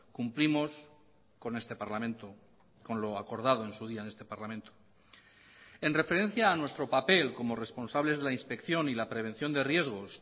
cumplimos con este parlamento con lo acordado en su día en este parlamento en referencia a nuestro papel como responsables de la inspección y la prevención de riesgos